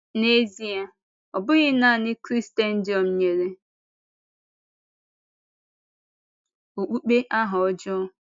N’ezìe, ọ bụghị nanị Krịstẹǹdị̀ọ̀m nyere okpukpe aha ọjọọ.